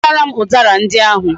Ghotaram udara ndi ahu!